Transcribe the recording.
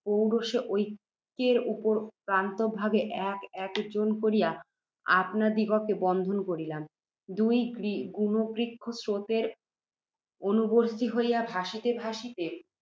পুরুষে একৈকের অপর প্রান্তভাগে এক এক জন করিয়া আপনাদিগকে বদ্ধ করিলাম। দুই গুণবৃক্ষ, স্রোতের অনুবর্ত্তী হইয়া, ভাসিতে ভাসিতে